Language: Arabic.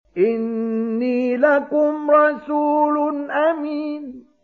إِنِّي لَكُمْ رَسُولٌ أَمِينٌ